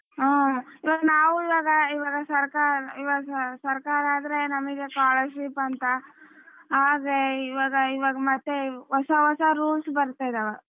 ಹ್ಮ್ ಇವಾಗ ನಾವು ಇವಾಗ ಸರ್ಕಾರ ಆದರೆ ನಮ್ಗೆ scholarship ಅಂತ ಆದ್ರೆ ಇವಾಗ ಇವಾಗ ಮತ್ತೆ ಹೊಸ ಹೊಸ rules ಬರ್ತಿದಾವ.